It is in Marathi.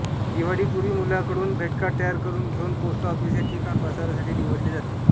दिवाळीपूर्वी मुलांकडून भेटकार्ड तयार करून घेऊन पोस्टऑफिस हे ठिकाण प्रसारासाठी निवडले जाते